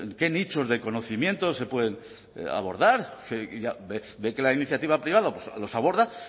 qué nichos de conocimientos se pueden abordar ve que la iniciativa privada los aborda